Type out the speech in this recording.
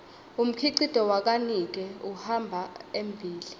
umkhicito wakanike uhamba embile